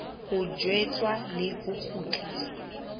ho tjheswa le ho kgutliswa